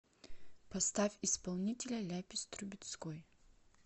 поставь исполнителя ляпис трубецкой